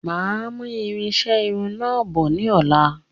Máa mú irinṣẹ Irun náà bọ̀ ní ọ̀la